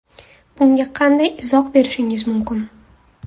Bunga qanday izoh berishingiz mumkin?